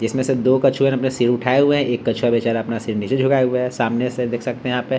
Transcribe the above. जिसमें से दो कछुए ने अपना सिर उठाए हुए हैं एक कछुआ बेचारा अपना सिर नीचे झुकाए हुए है सामने से देख सकते हैं यहाँ पे --